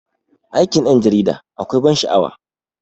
Aikin 'yan jarida akwai ban sha'awa.